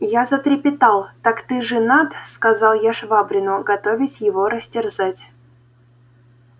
я затрепетал так ты женат сказал я швабрину готовясь его растерзать